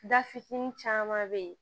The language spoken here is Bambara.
Da fitinin caman bɛ yen